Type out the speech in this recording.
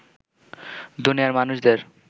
দুনিয়ার মানুষদের